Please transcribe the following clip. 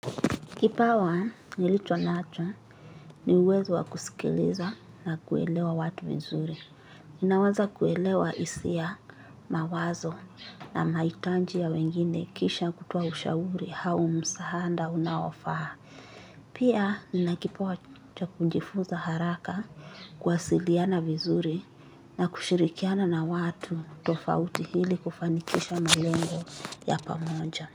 Kipawa nilicho nacho ni uwezo wa kusikiliza na kuelewa watu vizuri. Naweza kuelewa hisia mawazo na mahitaji ya wengine kisha kutoa ushauri au msaada unaofaa. Pia nina kipawa cha kujifuza haraka kuwasiliana vizuri na kushirikiana na watu tofauti ili kufanikisha malengo ya pamoja.